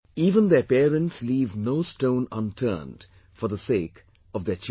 Even their parents leave no stone unturned for the sake of their children